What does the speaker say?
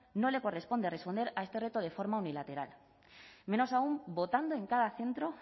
no le corresponde responder a este reto de forma unilateral menos aun votando en cada centro